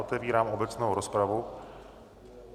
Otevírám obecnou rozpravu.